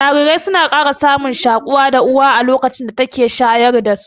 Jarirai suna ƙara samun shaƙuwa da Uwa a lokacin da take shayarwa